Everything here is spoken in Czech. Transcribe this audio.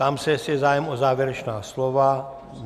Ptám se, jestli je zájem o závěrečná slova.